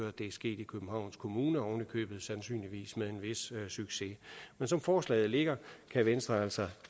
at det er sket i københavns kommune oven i købet sandsynligvis med en vis succes men som forslaget ligger kan venstre altså